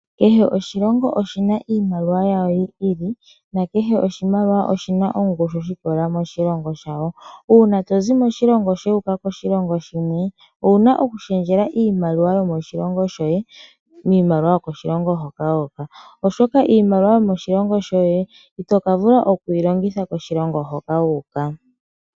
Kehe oshilongo oshina iimaliwa yasho yi ili na kehe oshimaliwa oshina ongushu shiikololela moshilongo shasho. Uuna to zi moshilongo shoye wuuka koshilongo shimwe. Owuna oku shendjela iimaliwa yomoshilongo shoye kiimaliwa yomoshilongo hoka wuuka oshoka iimaliwa yomoshilongo shoye ito ka vula okuyi longitha koshilongo hoka wuuka.